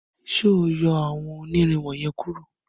ṣe o yọ awọn onirin wọnyẹn kuro.